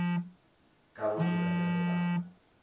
ka go dira bjalo ba